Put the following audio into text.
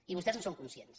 i vostès en són conscients